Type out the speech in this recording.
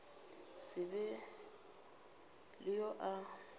se be le yo a